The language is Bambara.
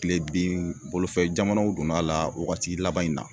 Kilebin bolofɛ jamanaw donn'a la wagati laban in na.